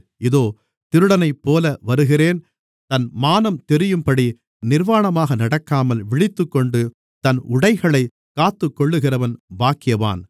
இதோ திருடனைப்போல வருகிறேன் தன் மானம் தெரியும்படி நிர்வாணமாக நடக்காமல் விழித்துக்கொண்டு தன் உடைகளைக் காத்துக்கொள்ளுகிறவன் பாக்கியவான்